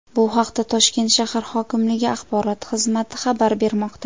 Bu haqda Toshkent shahar hokimligi Axborot xizmati xabar bermoqda .